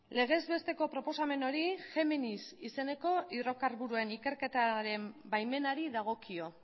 legez besteko proposamen hori geminis izeneko hidrokarburoen ikerketaren baimenari dagokio